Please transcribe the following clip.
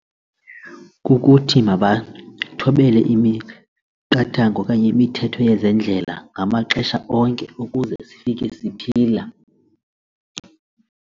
Kukuthi mabathobele imiqathango okanye imithetho yezendlela ngamaxesha onke ukuze sifike siphila.